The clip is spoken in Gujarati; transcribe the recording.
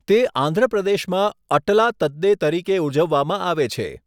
તે આંધ્ર પ્રદેશમાં 'અટલા તદ્દે' તરીકે ઉજવવામાં આવે છે.